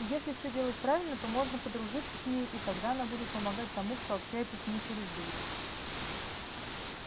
и если все делать правильно то можно подружиться с ней и тогда она будет помогать тому кто общается с ней через дурь